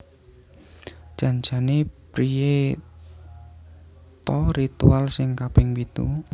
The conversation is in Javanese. Jan jane priye to ritual sing kaping pitu